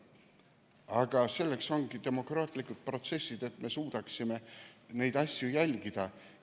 Aga selleks ongi demokraatlikud protsessid, et me suudaksime neid asju jälgida.